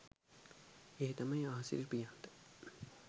ඒ තමයි ආසිරි ප්‍රියන්ත